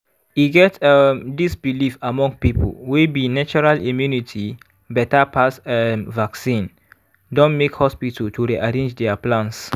e get um dis belief among people wey be natural immunity beta pass um vaccine don make hospital to rearrange their plans.